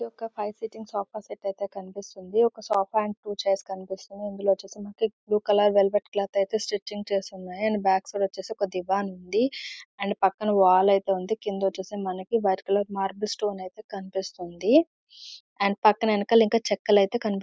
ఇది ఒక five sitting sofa set ఐతే కనిపిస్తుంది. ఒక సొప్ప అండ్ టు చైర్స్ లాగా కనిపిస్తున్నాయి . ఇందులో ఐతే బ్లూ కలర్ వెల్వెట్ క్లోత్ ఐతే స్టిచ్చింగ్ ఉంది. దీని బ్యాక్ సైడ్ ఒక దివాన్ ఉంది. అండ్ పక్కన వాల్ ఐతే ఉంది. కింద వచ్చేసి మనకీ వైట్ కలర్ మార్బల్ స్టోన్ ఐతే కనిపిస్తుంది. అండ్ పక్కన వెనకాల ఇంకా చెక్కలు ఐతే కన్పి--